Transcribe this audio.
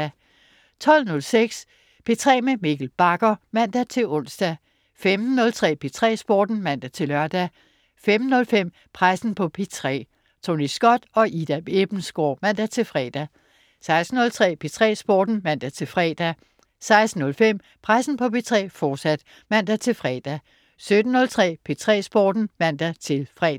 12.06 P3 med Mikkel Bagger (man-ons) 15.03 P3 Sporten (man-lør) 15.05 Pressen på P3. Tony Scott og Ida Ebbensgaard (man-fre) 16.03 P3 Sporten (man-fre) 16.05 Pressen på P3, fortsat (man-fre) 17.03 P3 Sporten (man-fre)